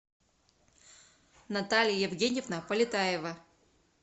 наталья евгеньевна полетаева